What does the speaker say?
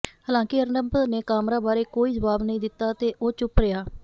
ਹਾਲਾਂਕਿ ਅਰਨਬ ਨੇ ਕਾਮਰਾ ਬਾਰੇ ਕੋਈ ਜਵਾਬ ਨਹੀਂ ਦਿੱਤਾ ਤੇ ਉਹ ਚੁੱਪ ਰਿਹਾ